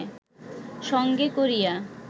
সঙ্গে করিয়া